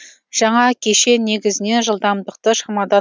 жаңа кешен негізінен жылдамдықты шамадан